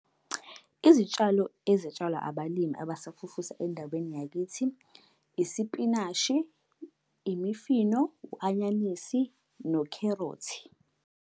Izitshalo ezitshalwa abalimi abasafufuza endaweni yakithi, isipinashi, imifino, u-anyanisi, nokherothi.